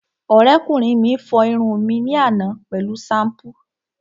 Ọ̀rẹ́kùnrin mi fọ irun mi ní àná pẹ̀lú ṣampú